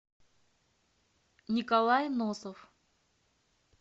николай носов